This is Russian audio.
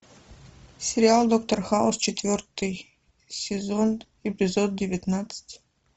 сериал доктор хаус четвертый сезон эпизод девятнадцать